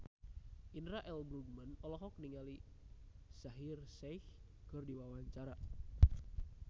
Indra L. Bruggman olohok ningali Shaheer Sheikh keur diwawancara